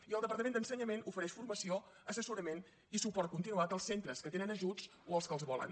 i el departament d’ensenyament ofereix formació assessorament i suport continuat als centres que tenen ajuts o als que els volen